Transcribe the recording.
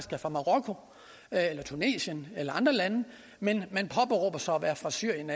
er fra marokko eller tunesien eller andre lande men påberåber sig at være fra syrien